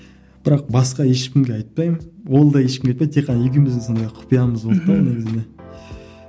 бірақ басқа ешкімге айтпаймын ол да ешкімге айтпайды тек қана екеуміздің сондай құпиямыз болды да ол негізінде